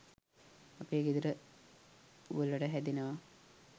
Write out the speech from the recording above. අපේ ගෙදර වලට හැදෙනව